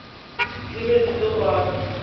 di be di le gona